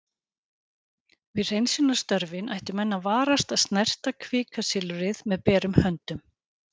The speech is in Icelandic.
Við hreinsunarstörfin ættu menn að varast að snerta kvikasilfrið með berum höndum.